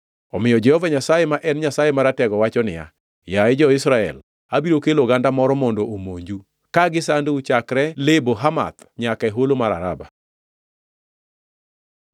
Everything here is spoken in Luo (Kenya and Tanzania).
Omiyo Jehova Nyasaye ma en Nyasaye Maratego wacho niya, “Yaye jo-Israel, abiro kelo oganda moro mondo omonju, ka gisandou chakre Lebo Hamath nyaka e holo mar Araba.”